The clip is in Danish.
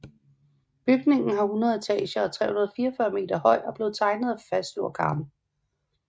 Bygningen har 100 etager og er 344 meter høj og blev tegnet af Fazlur Khan